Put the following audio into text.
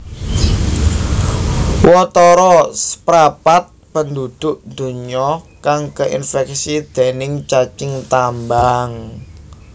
Watara saprapat penduduk donya kang keinfeksi déning cacing tambang